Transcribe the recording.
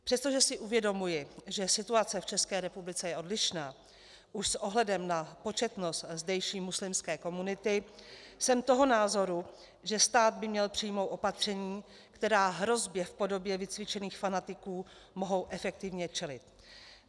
Přestože si uvědomuji, že situace v České republice je odlišná už s ohledem na početnost zdejší muslimské komunity, jsem toho názoru, že stát by měl přijmout opatření, která hrozbě v podobě vycvičených fanatiků mohou efektivně čelit.